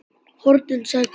HORNIN, sagði Kobbi.